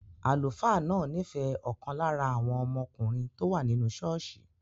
Àlùfáà náà nífẹ̀ẹ́ ọ̀kan lára àwọn ọmọkùnrin tó wà nínú ṣọ́ọ̀ṣì